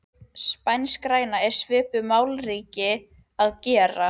Spanskgræna er svipuð malakíti að gerð.